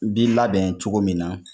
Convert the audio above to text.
B'i labɛn cogo min na